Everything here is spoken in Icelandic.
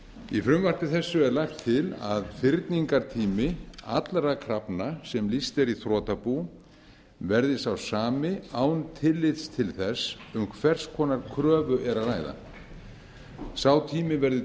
í frumvarpi þessu er lagt til að fyrningartími allra krafna sem lýst er í þrotabú verði sá sami án tillits til þess um hvers konar kröfu er að ræða sá tími verði